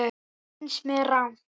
Það finnst mér rangt.